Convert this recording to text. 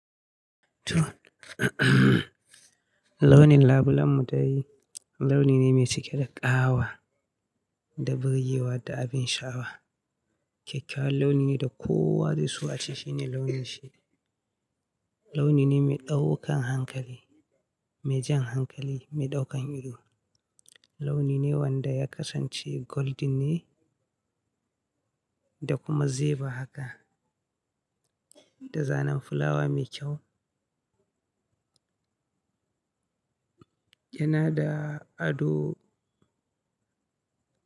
Launin labulen mu dai launi ne mai cike da ƙawa da birgewa da abin sha, awa. Kyakkyawan launi ne da kowa zai so a ce shi ne launin shi. Launi ne mai ɗaukan hankali, me jan hankali, mai ɗaukan ido. Launi ne wanda ya kasance golden ne da kuma zeba haka, da zanen fulawa mai kyau. Yana da ado.